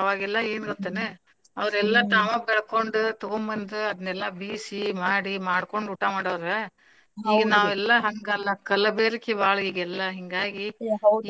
ಅವಾಗೆಲ್ಲಾ ಏನ್ ಗೊತ್ ಏನ್ ಅವ್ರ ಎಲ್ಲಾ ತಾವ ಬೆಳಕೊಂಡ್ ತುಗೊಬಂದ್ ಅದ್ನೇಲ್ಲಾ ಬೀಸಿ ಮಾಡಿ ಮಾಡ್ಕೊಂಡ್ ಊಟಾ ಮಾಡಾವ್ರ ಈಗ ನಾವೆಲ್ಲ ಹಂಗಲ್ಲ ಕಲಬೆರಕೆ ಬಾಳ್ ಈಗೆಲ್ಲ ಹಿಂಗಾಗಿ